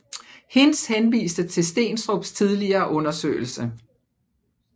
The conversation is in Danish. Hinz henviste til Steenstrups tidligere undersøgelse